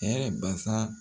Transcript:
Hɛrɛɛ basaa